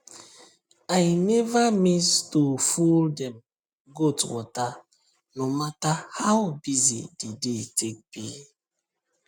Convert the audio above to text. i never miss to full dem goat waterno matter how busy the day take be